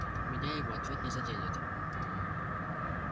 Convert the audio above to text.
меня его ответ не заденет